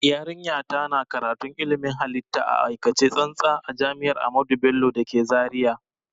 Yarinya ta na karatun ilmin halitta a aikace tsantsa a jami'ar ahamadu bello da ke zaria